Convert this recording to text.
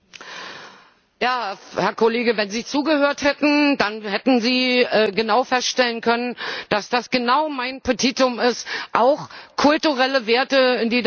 Herr Kollege, wenn Sie zugehört hätten, dann hätten Sie feststellen können, dass das genau mein Petitum ist, auch kulturelle Werte in die Debatte miteinzubeziehen.